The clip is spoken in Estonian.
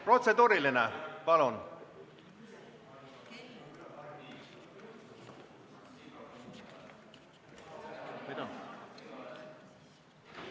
Protseduuriline?